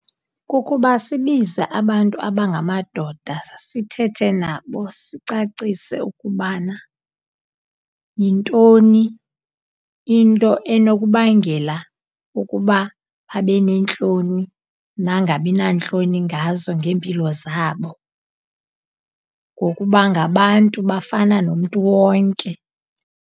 Kukuba sibize abantu abangamadoda sithethe nabo, sicacise ukubana yintoni into enokubangela ukuba babe neentloni nangabi nantloni ngazo ngeempilo zabo. Ngokuba ngabantu, bafana nomntu wonke.